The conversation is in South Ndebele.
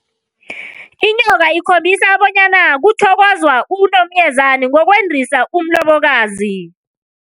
Inyoka ikhombisa bonyana kuthokozwa unomyezani ngokwendisa umlobokazi.